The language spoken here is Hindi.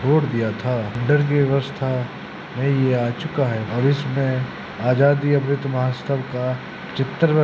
रोड दिया था इधर की व्यवस्था में यह आ चूका है और इसमें आज़ादी अमृत महोत्सव का चित्र --